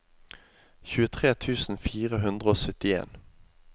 tjuetre tusen fire hundre og syttien